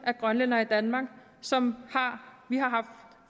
grønlændere i danmark som vi har haft